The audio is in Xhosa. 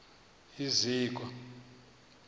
iziko